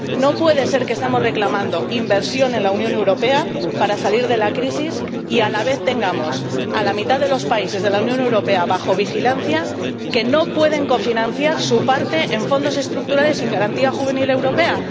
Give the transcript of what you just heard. No puede ser que estemos reclamando inversión en la Unión Europea para salir de la crisis y a la vez tengamos a la mitad de los países de la Unión Europea bajo vigilancia, que no pueden cofinanciar su parte en Fondos Estructurales y en Garantía Juvenil Europea.